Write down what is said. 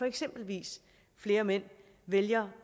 eksempelvis flere mænd vælger